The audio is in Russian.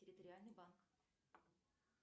территориальный банк